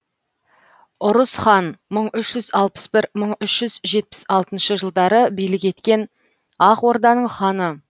ұрыс хан мың үш жүз алпыс бір мың үш жүз жетпіс алтыншы жылдары билік еткен ақ орданың ханы